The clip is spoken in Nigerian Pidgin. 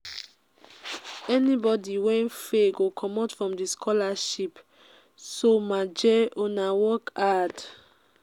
anybody wey fail go comot from the scholarship so maje una work hard.